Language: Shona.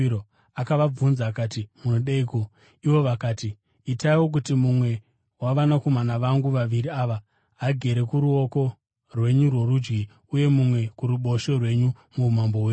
Akabvunza akati, “Munodeiko?” Ivo vakati, “Itaiwo kuti mumwe wavanakomana vangu vaviri ava agare kuruoko rwenyu rworudyi uye mumwe kuruboshwe rwenyu muumambo hwenyu.”